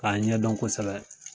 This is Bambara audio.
K'a ɲɛdɔn kosɛbɛ